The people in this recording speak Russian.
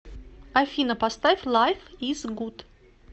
афина поставь лайф из гуд